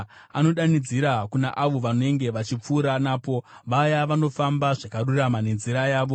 achidanidzira kuna avo vanenge vachipfuura napo, vaya vanofamba zvakarurama nenzira yavo.